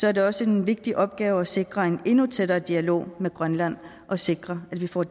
er det også en vigtig opgave at sikre en endnu tættere dialog med grønland og sikre at vi får